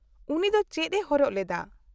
-ᱩᱱᱤ ᱫᱚ ᱪᱮᱫ ᱮ ᱦᱚᱨᱚᱜ ᱞᱮᱫᱟ ?